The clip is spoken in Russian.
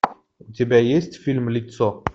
у тебя есть фильм лицо